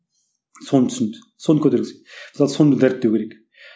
соны түсінді соны мысалы соны дәріптеу керек